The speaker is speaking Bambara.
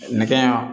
Nɛgɛ ɲɛ